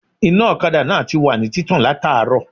Iná òkadà náà tiwà ní títàn látàárò